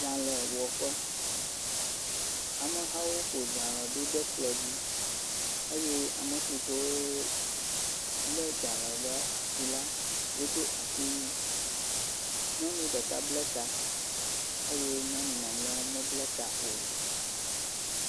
Dzalɛwɔƒe, amehawo fɔ dzalɛ ɖo ɖe kplɔ dzi eye ame siwo lé dzalɛ ɖe asi la wodo asi wui ɖe asi, nyɔnu ɖeka bla ta, eye nyɔnu mamleawo mebla ta o.